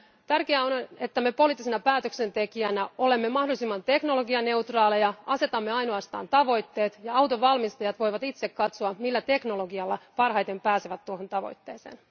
Tärkeää on, että me poliittisena päätöksentekijänä olemme mahdollisimman teknologianeutraaleja, asetamme ainoastaan tavoitteet ja autonvalmistajat voivat itse katsoa, millä teknologialla parhaiten pääsevät tuohon tavoitteeseen.